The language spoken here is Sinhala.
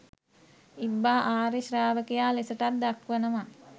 ඉබ්බා ආර්ය ශ්‍රාවකයා ලෙසටත් දක්වනවා.